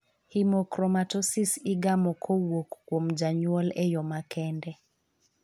Hemochromatosis igamo kpowuok kuom janyuol e yo makende.